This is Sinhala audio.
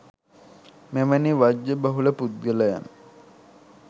මෙවැනි වජ්ජ බහුල පුද්ගලයන්